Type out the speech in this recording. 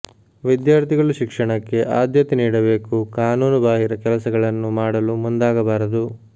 ವಿದ್ಯಾರ್ಥಿಗಳು ಶಿಕ್ಷಣಕ್ಕೆ ಆದ್ಯತೆ ನೀಡಬೇಕು ಕಾನೂನು ಬಾಹಿರ ಕೆಲಸಗಳನ್ನು ಮಾಡಲು ಮುಂದಾಗಬಾರದು